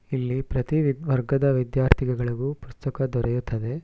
ಇಲ್ಲಿ ಪ್ರತಿ ವಿ ವರ್ಗದ ವಿದ್ಯಾರ್ಥಿಗಳಿಗು ಪುಸ್ತಕ ದೊರೆಯುತ್ತಿದೆ.